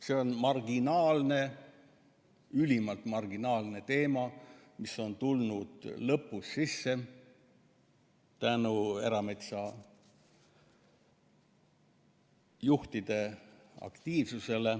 See on marginaalne, ülimalt marginaalne teema, mis on tulnud lõpus sisse tänu erametsajuhtide aktiivsusele.